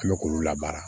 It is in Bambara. An bɛ k'olu labaara